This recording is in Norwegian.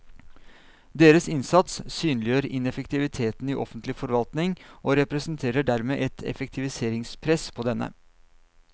Deres innsats synliggjør ineffektiviteten i offentlig forvaltning og representerer dermed et effektivitetspress på denne.